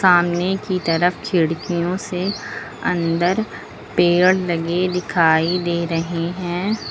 सामने की तरफ खिड़कियों से अंदर पेड़ लगे दिखाई दे रहे है।